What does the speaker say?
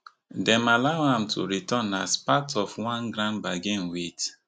dem allow am to return as part of one grand bargain wit